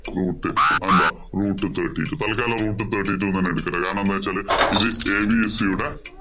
root അതെന്താ root thirty two തത്കാലം root thirty two എന്ന് തന്നെ എടുക്ക ട്ടൊ കാരണം എന്താന്ന് വെച്ച് കഴിഞ്ഞാല്‍ ഇത് abc യുടെ root